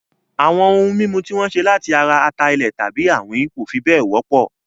Àwọn ohun mímu tí wọ́n ṣe láti ara ata-ilẹ̀ tàbí àwín kò fi bẹ́ẹ̀ wọ́pọ̀